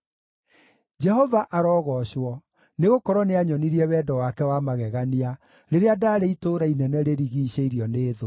Jehova arogoocwo, nĩgũkorwo nĩanyonirie wendo wake wa magegania rĩrĩa ndaarĩ itũũra inene rĩrigiicĩirio nĩ thũ.